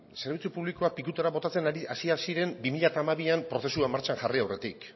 zerbitzu publikoak pikutara botatzen hasiak ziren bi mila hamabian prozesua martxan jarri aurretik